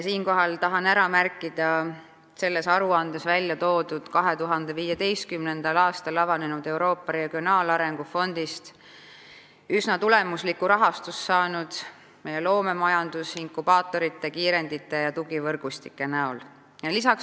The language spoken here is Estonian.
Siinkohal tahan ära märkida selles aruandes välja toodud fakti, et 2015. aastal avanenud Euroopa Regionaalarengu Fondist on üsna tulemuslikku rahastust saanud meie loomeettevõtete inkubaatorid, kiirendid ja tugivõrgustikud.